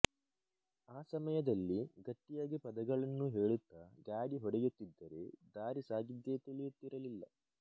ಆ ಸಮಯದಲ್ಲಿ ಗಟ್ಟಿಯಾಗಿ ಪದಗಳನ್ನು ಹೇಳುತ್ತ ಗಾಡಿ ಹೊಡೆಯುತ್ತಿದ್ದರೆ ದಾರಿಸಾಗಿದ್ದೆ ತಿಳಿಯುತ್ತಿರಲಿಲ್ಲ